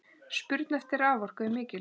Spurn eftir raforku er mikil.